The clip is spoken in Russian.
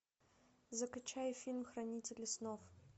закачай фильм хранители снов